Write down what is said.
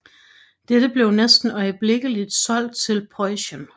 Dette blev næsten øjeblikkeligt solgt til Preussen